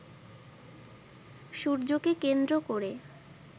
সূর্যকে কেন্দ্র করে